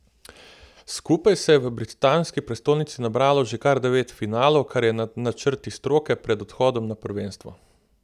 Skupaj se je v britanski prestolnici nabralo že kar devet finalov, kar je nad načrti stroke pred odhodom na prvenstvo.